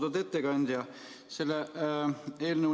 Austatud ettekandja!